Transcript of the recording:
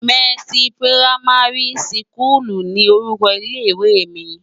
Mèsi pirámàri sikúlú ni órúkò ilé iwé mi